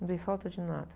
Não dei falta de nada.